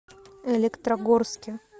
электрогорске